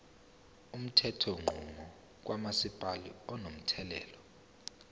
umthethonqubo kamasipala unomthelela